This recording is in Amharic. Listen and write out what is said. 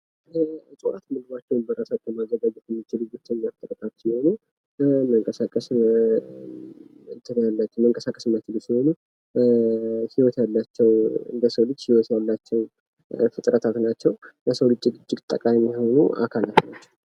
እጽዋቶች ምግባቸውን በራሳቸው ማዘጋጀት የሚችሉ ብቸኛ ፍጥረቶች ናቸው። መንቀሳቀስ የማይችሉ ሲሆኑ፤ ህይወት ያላቸው እንደ ሰው ልጅ ህይወት ያላቸው ፍጥረታት ናቸው ለሰው ልጅ እጅግ ጠቃሚ የሆኑ አካላት ናቸው።